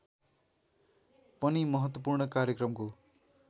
पनि महत्त्वपूर्ण कार्यक्रमको